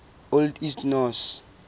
old east norse